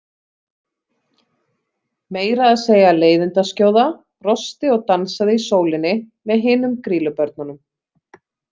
Meira að segja Leiðindaskjóða brosti og dansaði í sólinni með hinum Grýlubörnunum.